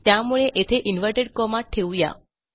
त्यामुळे येथे inverted comma ठेवू या